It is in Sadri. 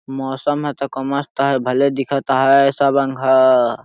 मौसम है त क मस्त है भले दिखत है सब अनघय --